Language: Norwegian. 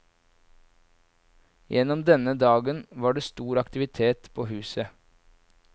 Gjennom denne dagen var det stor aktivitet på huset.